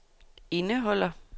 indeholder